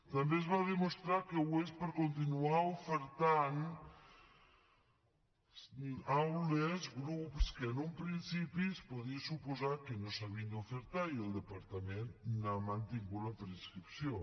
també es va demostrar que ho és per a continuar ofertant aules grups que en un principi es podia suposar que no s’havien d’ofertar i el departament n’ha mantingut la preinscripció